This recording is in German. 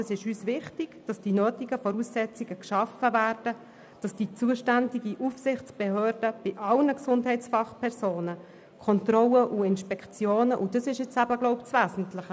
Die nötigen Voraussetzungen müssen geschaffen werden, damit die zuständige Aufsichtsbehörde bei allen Gesundheitsfachpersonen Kontrollen und Inspektionen auf Hinweis hin durchführen kann.